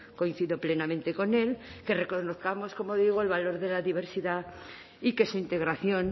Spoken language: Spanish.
coincido plenamente con él que reconozcamos como digo el valor de la diversidad y que su integración